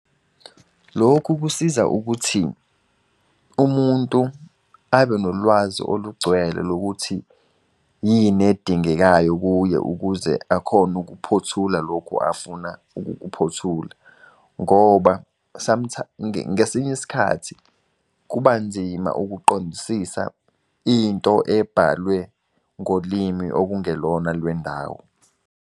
Lokhu kusiza ukuthi umuntu abe nolwazi olugcwele lokuthi, yini edingekayo kuye, ukuze akhone ukuphothula lokhu afuna ukukuphothula. Ngoba ngesinye isikhathi, kuba nzima ukuqondisisa into ebhalwe ngolimi okungelona olwendawo.